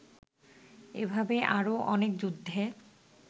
এভাবে আরও অনেক যুদ্ধে